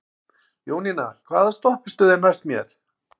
Jónína, hvaða stoppistöð er næst mér?